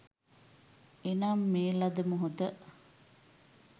එනම් මේ ලද මොහොත